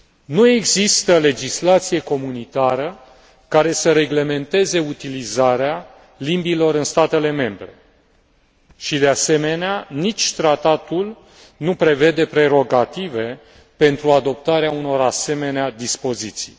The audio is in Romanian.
Nu există legislație comunitară care să reglementeze utilizarea limbilor în statele membre și, de asemenea, nici tratatul nu prevede prerogative pentru adoptarea unor asemenea dispoziții.